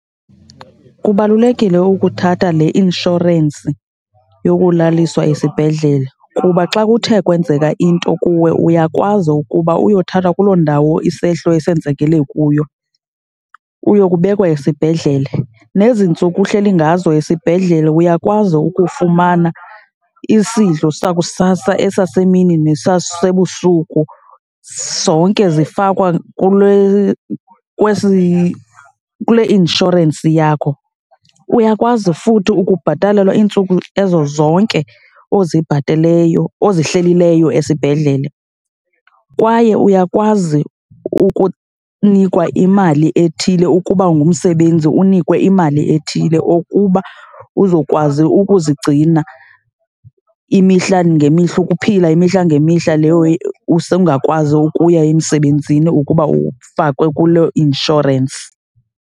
Kubalulekile ukuthatha le inshorensi yokulaliswa esibhedlele kuba xa kuthe kwenzeka into kuwe uyakwazi ukuba uyothathwa kuloo ndawo isehlo esenzekele kuyo uyokubekwa esibhedlele. Nezi ntsuku uhleli ngazo esibhedlele uyakwazi ukufumana isidlo sakusasa, esasemini nesasebusuku, zonke zifakwa kule, kwesi, kule inshorensi yakho. Uyakwazi futhi ukubhatalelwa iintsuku ezo zonke ozibhateleyo, ozihlelileyo esibhedlele. Kwaye uyakwazi ukunikwa imali ethile, ukuba ungumsebenzi unikwe imali ethile ukuba uzokwazi ukuzigcina imihla ngemihla, ukuphila imihla ngemihla leyo usengakwazi ukuya emsebenzini ukuba ufakwe kuloo inshorensi.